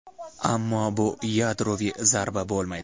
ammo bu yadroviy zarba bo‘lmaydi.